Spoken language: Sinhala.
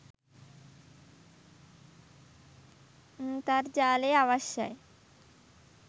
න්තර්ජාලය අවශ්‍යයි